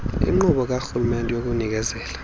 inkqubo karhulumente yokunikezela